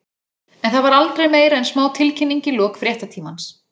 En það var aldrei meira en smá tilkynning í lok fréttatímans.